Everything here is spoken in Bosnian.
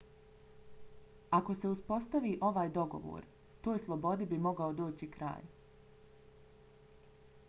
ako se uspostavi ovaj dogovor toj slobodi bi mogao doći kraj